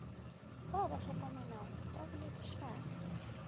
ba ba hlokomelago ba boledišane